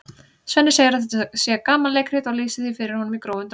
Svenni segir að þetta sé gamanleikrit og lýsir því fyrir honum í grófum dráttum.